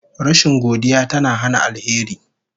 Rashin godiya tana hana alheri